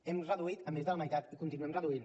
hem reduït a més de la meitat i continuem reduint